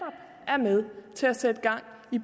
er med til at sætte gang i